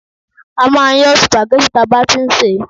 a ma n yọ́ spaghetti ta ba ti n se